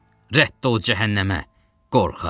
Rədd ol cəhənnəmə, qorxaq!